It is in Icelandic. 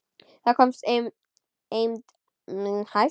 Þá komst eymd mín hæst.